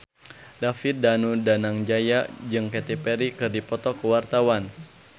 David Danu Danangjaya jeung Katy Perry keur dipoto ku wartawan